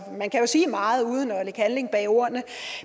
man kan jo sige meget uden at lægge handling bag ordene